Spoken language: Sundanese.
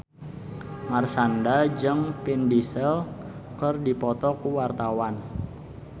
Marshanda jeung Vin Diesel keur dipoto ku wartawan